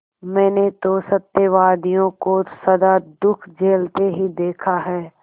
मैंने तो सत्यवादियों को सदा दुःख झेलते ही देखा है